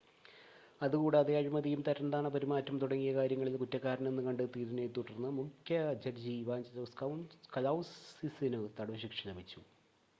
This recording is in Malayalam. അതുകൂടാതെ അഴിമതിയും തരംതാണ പെരുമാറ്റം തുടങ്ങിയ കാര്യങ്ങളിൽ കുറ്റക്കാരനെന്ന് കണ്ടെത്തിയതിനെ തുടർന്ന് മുഖ്യ ജഡ്ജി ഇവാഞ്ചലോസ് കലൗസിസിനു തടവ് ശിക്ഷ ലഭിച്ചു